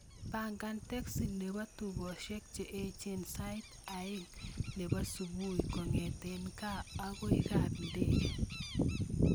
Pangan teksi nepo tukosyek che echen sait aeng nepo supui kongeten kaa agoi kap ndege